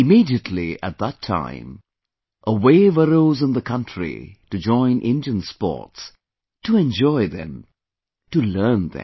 Immediately at that time, a wave arose in the country to join Indian Sports, to enjoy them, to learn them